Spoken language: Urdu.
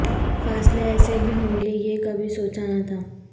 فاصلے ایسے بھی ہونگے یہ کبھی سوچا نہ تھا